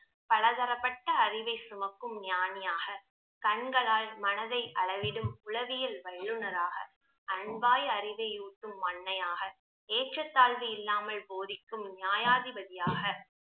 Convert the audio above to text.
பலதரப்பட்ட அறிவை சுமக்கும் ஞானியாக, கண்களால் மனதை அளவிடும் உளவியல் வல்லுனராக, அன்பாய் அறிவையூட்டும் அன்னையாக, ஏற்றத்தாழ்வு இல்லாமல் போதிக்கும் நியாயாதி பதியாக